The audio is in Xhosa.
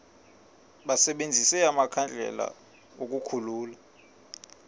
basebenzise amakhandlela ukukhulula